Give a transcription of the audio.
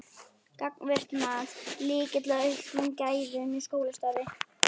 Gagnvirkt mat: Lykill að auknum gæðum í skólastarfi?